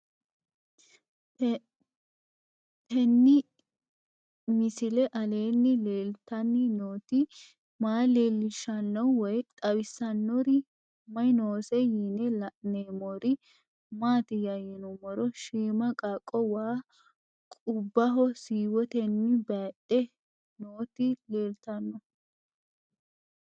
Tenni misile aleenni leelittanni nootti maa leelishshanno woy xawisannori may noosse yinne la'neemmori maattiya yinummoro shiimma qaaqqo waa qubbaho siiwottenni bayiidhe nootti leelittanno